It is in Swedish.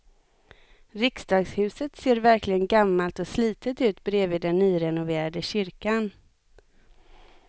Riksdagshuset ser verkligen gammalt och slitet ut bredvid den nyrenoverade kyrkan.